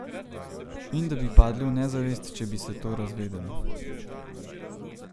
In da bi padli v nezavest, če bi se to razvedelo.